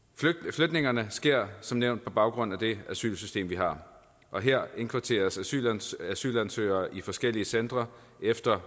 flytningerne sker som nævnt på baggrund af det asylsystem vi har og her indkvarteres asylansøgere asylansøgere i forskellige centre efter